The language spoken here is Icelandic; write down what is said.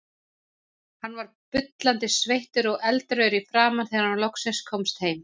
Hann var bullandi sveittur og eldrauður í framan þegar hann loksins komst heim.